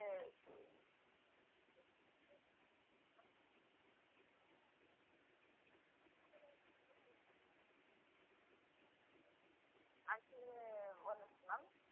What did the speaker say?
அது ஒரு நிமிஷம் ma'am